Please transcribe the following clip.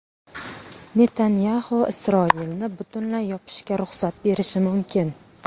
Netanyaxu Isroilni butunlay yopishga ruxsat berishi mumkin.